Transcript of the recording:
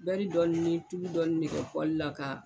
dɔɔnin ni tulu dɔɔnin ne kɛ la k'a.